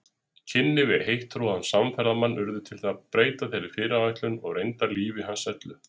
Kynni við heittrúaðan samferðamann urðu til að breyta þeirri fyrirætlun og reyndar lífi hans öllu.